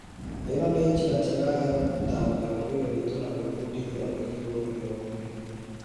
ĩno nĩnjĩra njega ya gũtambia ũndũire wĩtũ na gwĩbundithia wĩgie ũndũire ũngĩ.